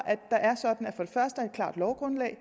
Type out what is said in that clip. at første er et klart lovgrundlag